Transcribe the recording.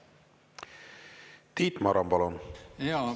Tiit Maran, palun!